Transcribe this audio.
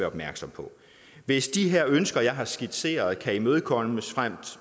opmærksom på hvis de her ønsker jeg har skitseret kan imødekommes frem